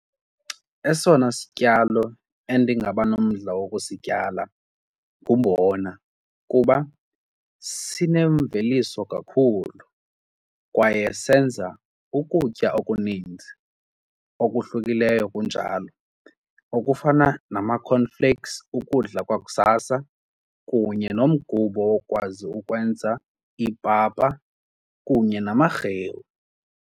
Esona sityalo endingabanomdla wokusityala ngumbona kuba sinemveliso kakhulu kwaye senza ukutya okuninzi okuhlukileyo kunjalo okufana nama-cornflakes ukudla kwakusasa kunye nomgubo wokwazi ukwenza ipapa kunye namarhewu.